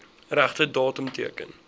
regte datum teken